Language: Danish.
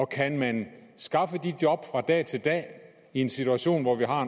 kan man skaffe de job fra dag til dag i en situation hvor vi har